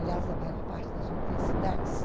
Aliás, da maior parte das universidades.